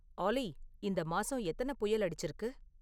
ஆல்லி இந்த மாசம் எத்தனப் புயல் அடிச்சிருக்கு?